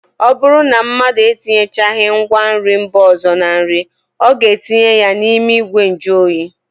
Ọ bụrụ na mmadụ etinyechaghị ngwanri mba ọzọ na nri, ọ ga-etinye ya n'ime ìgwè njụoyi